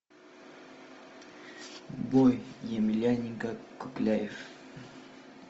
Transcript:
бой емельяненко кукляев